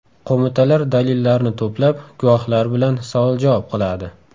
Qo‘mitalar dalillarni to‘plab, guvohlar bilan savol-javob qiladi.